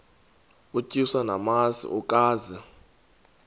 utyiswa namasi ukaze